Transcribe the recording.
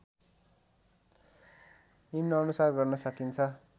निम्नानुसार गर्न सकिन्छ